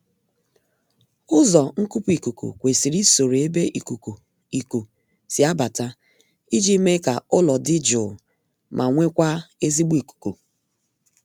Ụzọ nkupu ikuku kwesiri isoro ebe ikuku iku si abata iji mee ka ụlọ dị jụụ ma nwekwaa ezigbo ikuku